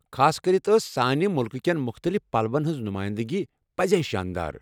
خاصكرِتھ ٲس سانہِ مُلکٕہ کین مختٔلِف پلوَن ہِنٛز نُمٲیِندگی پٔزۍ شانٛدار۔